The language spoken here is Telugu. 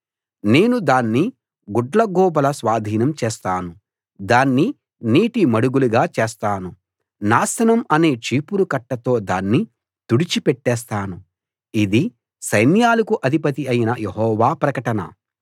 నేను దాన్ని గుడ్లగూబల స్వాధీనం చేస్తాను దాన్ని నీటి మడుగులుగా చేస్తాను నాశనం అనే చీపురుకట్టతో దాన్ని తుడిచి పెట్టేస్తాను ఇది సైన్యాలకు అధిపతి అయిన యెహోవా ప్రకటన